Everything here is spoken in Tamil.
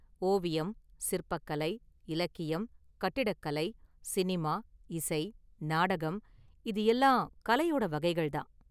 ஓவியம், சிற்பக் கலை, இலக்கியம், கட்டிடக் கலை, சினிமா, இசை, நாடகம், இது எல்லாம் கலையோட வகைகள்தான்.